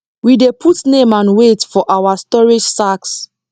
we dey put name and weight for our storage sacks